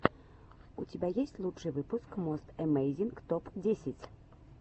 у тебя есть лучший выпуск мост эмейзинг топ десять